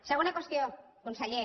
segona qüestió conseller